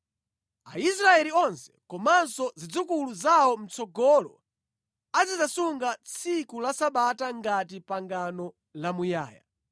Aisraeli onse komanso zidzukulu zawo mʼtsogolo azidzasunga tsiku la Sabata ngati pangano lamuyaya.